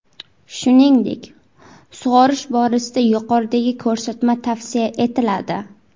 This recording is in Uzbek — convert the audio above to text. Shuningdek, sug‘orish borasida yuqoridagi ko‘rsatma tavsiya etiladi.